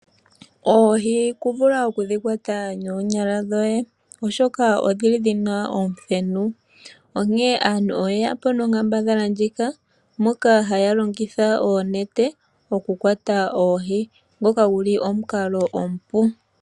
Oohi i ta vulu oku dhi kwata noonyala dhoye oshoka odhili dhina omuthenu sho osho nee aantu ye ya po nonkambadhala ndjika moka haya longitha oonete mokukwata oohi, ngoka gu li omukalo omupu.